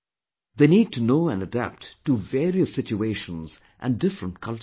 They need to know and adapt to various situations and different cultures